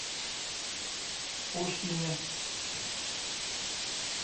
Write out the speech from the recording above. пушкине